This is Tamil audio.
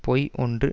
பொய் ஒன்று